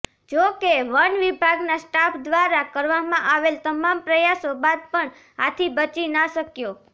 જોકે વન વિભાગનાં સ્ટાફ દ્વારા કરવામાં આવેલ તમામ પ્રયાસો બાદ પણ હાથી બચી ના શક્યો